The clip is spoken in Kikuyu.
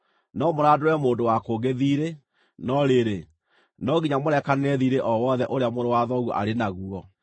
No mũrandũre mũndũ wa kũngĩ thiirĩ, no rĩrĩ, no nginya mũrekanĩre thiirĩ o wothe ũrĩa mũrũ wa thoguo arĩ naguo.